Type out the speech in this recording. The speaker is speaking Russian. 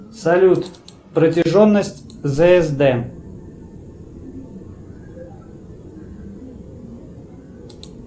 салют протяженность зсд